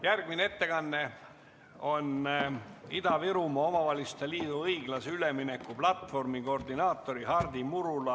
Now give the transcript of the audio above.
Järgmine ettekanne on Ida-Virumaa Omavalitsuste Liidu õiglase ülemineku platvormi koordinaatorilt Hardi Murulalt.